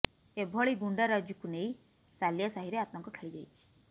ଏଭଳି ଗୁଣ୍ଡାରାଜ୍କୁ ନେଇ ସାଲିଆ ସାହିରେ ଆତଙ୍କ ଖେଳି ଯାଇଛି